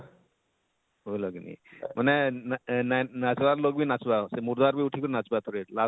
ବୂଝଲ କିନି ମାନେ ନା ଆଃ ନାଚବାର ଲୋକ ବି ନାଚବା, ସେ ମୁର୍ଦାର ବି ଉଠି କରି ନାଚବା ଥରେ,